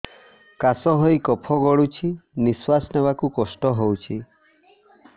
କାଶ ହେଇ କଫ ଗଳୁଛି ନିଶ୍ୱାସ ନେବାକୁ କଷ୍ଟ ହଉଛି